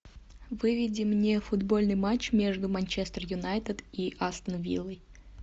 выведи мне футбольный матч между манчестер юнайтед и астон виллой